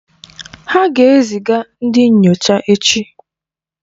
Ha ga-ezi ga ndị nyocha echi.